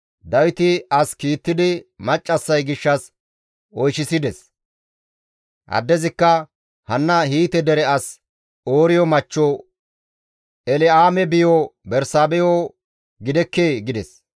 Dawiti as kiittidi maccassay gishshas oyshechchides; addezikka, «Hanna Hiite dere as Ooriyo machcho El7aame biyo Bersaabeho gidekkee?» gides.